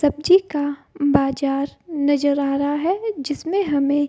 सब्जी का बाजार नजर आ रहा है जिसमे हमें --